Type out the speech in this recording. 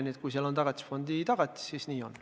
Nii et kui neil on Tagatisfondi tagatis, siis nii on.